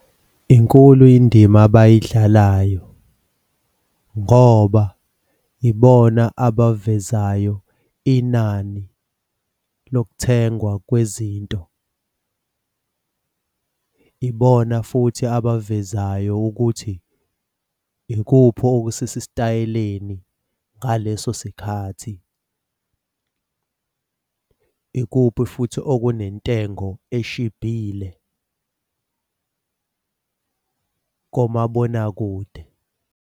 Inkulu indima abayidlalayo, ngoba ibona abavezayo inani lokuthengwa kwezinto. Ibona futhi abavezayo ukuthi ikuphi okusesitayeleni ngaleso sikhathi. Ikuphi futhi okunentengo eshibhile komabonakude.